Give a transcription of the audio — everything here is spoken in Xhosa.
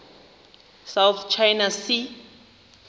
south china sea